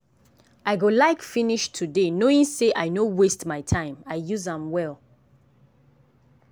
i go like finish today knowing sey i no waste my time i use am well.